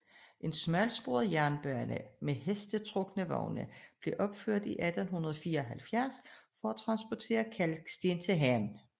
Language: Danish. En smalsporet jernbane med hestetrukne vogne blev opført 1874 for at transportere kalksten til havnen